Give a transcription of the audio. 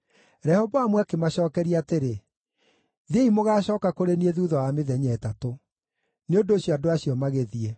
Rehoboamu akĩmacookeria atĩrĩ, “Thiĩi mũgaacooka kũrĩ niĩ thuutha wa mĩthenya ĩtatũ.” Nĩ ũndũ ũcio andũ acio magĩthiĩ.